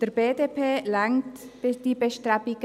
Der BDP reichen diese Bestrebungen.